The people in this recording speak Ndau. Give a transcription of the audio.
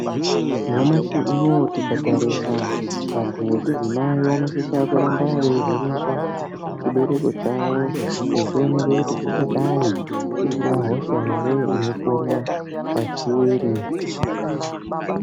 Nyamashi unowu, tikatarisa vantu vechidzimai vanosisa kuramba veivenekwa chibereko chavo, vechionekwa kuti chingadayi chisina hosha ere inopona pachiri.